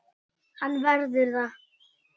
Hann verður það.